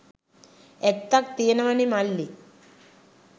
ඇත්තක් තියනවනෙ මල්ලි.